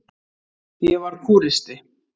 Ég var kúristi.